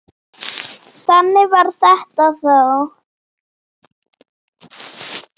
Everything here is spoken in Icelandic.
Þannig var þetta þá.